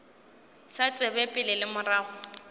sa tsebe pele le morago